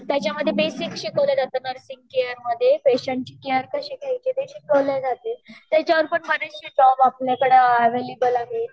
त्याचामध्ये तेच शिकवल्या जाते नुर्सिंग केयर मधे पेशंट ची केयर कशी घ्यायची ते शिकवल जाते त्याच्या वर पण बरेचशे जॉब आपल्याकड़े एवेलेबल आहे